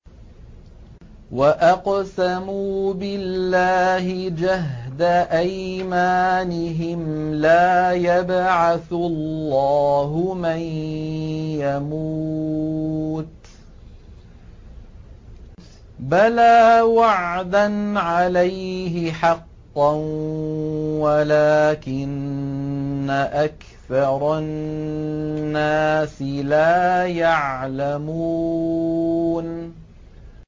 وَأَقْسَمُوا بِاللَّهِ جَهْدَ أَيْمَانِهِمْ ۙ لَا يَبْعَثُ اللَّهُ مَن يَمُوتُ ۚ بَلَىٰ وَعْدًا عَلَيْهِ حَقًّا وَلَٰكِنَّ أَكْثَرَ النَّاسِ لَا يَعْلَمُونَ